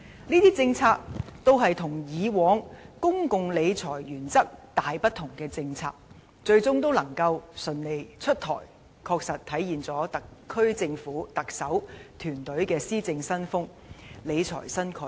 這些與以往公共理財原則大不同的政策，最終能夠順利出台，確實體現了特區政府、特首及其團隊的施政新風及理財新概念。